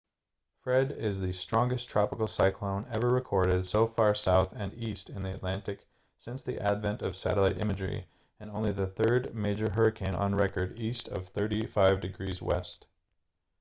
fred is the strongest tropical cyclone ever recorded so far south and east in the atlantic since the advent of satellite imagery and only the third major hurricane on record east of 35°w